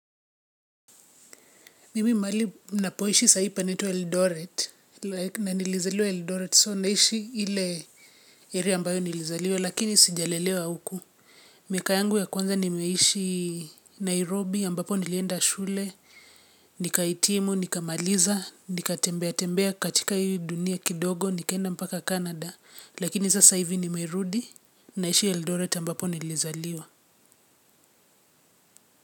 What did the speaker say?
Mimi mahali napoishi saa hii panaitwa Eldoret na nilizaliwa Eldoret so naishi ile area ambayo nilizaliwa lakini sijalelewa huku. Miaka yangu ya kwanza nimeishi Nairobi ambapo nilienda shule, nikahitimu, nikamaliza, nikatembea tembea katika hii dunia kidogo, nikaenda mpaka Canada lakini sasa hivi nimerudi naishi Eldoret ambapo nilizaliwa.